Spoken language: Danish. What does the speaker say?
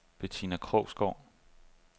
Bettina Krogsgaard